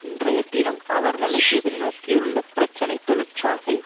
இன்றைய தினம் அவர்களை எதிர் நோக்கியுள்ள பிரச்சனை தொழிற்சாலை